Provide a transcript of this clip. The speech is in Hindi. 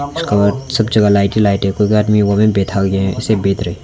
नमस्कार सब जगह लाइटे लाइटे --